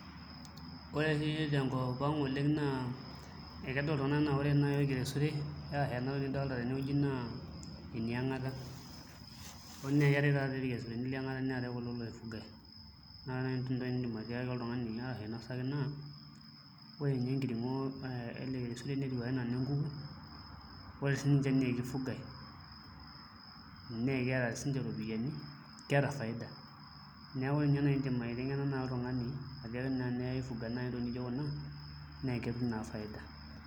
Ore oshi tenkop ang' oleng' naa ekedol orkeresure naa ashu ena toki nidolta tene naa eniang'ata hoo naa keetai taatoi irkeresuren liang'ata neetai kulo oifugai naa ore nai eniidim ainosaki oltung'ani naa ore ninye enkirng'o ele keresure netiu ake enaa ene nkuku ore sininche naa kifugai naa keeta sininche iropiyiani, keeta faida ninye naa indim aiteng'ena naa oltung'ani naai pee ifuga ntokitin nijio kuna naa ketii naa faida.